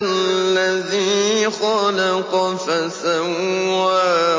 الَّذِي خَلَقَ فَسَوَّىٰ